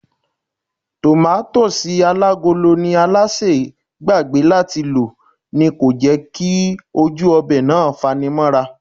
Tòmátósì alágolo tí Alásè gbàgbé láti lò ni kò jẹ́ kí ojú ọbẹ̀ náà fanimóra